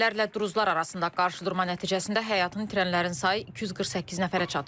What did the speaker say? Bədəvilərlə druzlar arasında qarşıdurma nəticəsində həyatını itirənlərin sayı 248 nəfərə çatıb.